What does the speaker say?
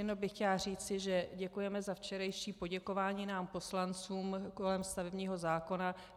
Jenom bych chtěla říci, že děkujeme za včerejší poděkování nám poslancům kolem stavebního zákona.